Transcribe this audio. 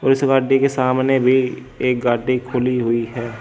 और इस गाड़ी के सामने भी एक गाड़ी खुली हुई है।